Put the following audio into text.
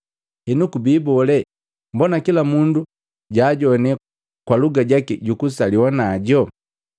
Henu kubi bole, mbona kila mundu jaajoane kwa lugha jaki jukusaliwa najo?